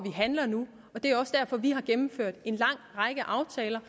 handler nu og det er også derfor vi har gennemført en lang række aftaler